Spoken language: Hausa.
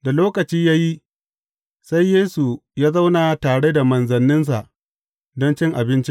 Da lokaci ya yi, sai Yesu ya zauna tare da manzanninsa don cin abinci.